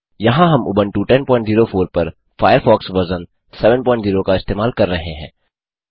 यहाँ हम उबंटू 1004 पर फ़ायरफ़ॉक्स वर्ज़न 70 का इस्तेमाल कर रहे हैं